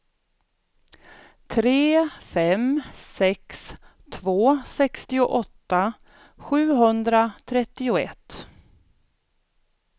tre fem sex två sextioåtta sjuhundratrettioett